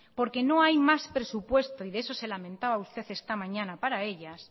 porque no hay más presupuesto y de eso se lamentaba usted esta mañana para ellas